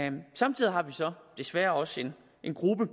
samtidig har vi så desværre også en gruppe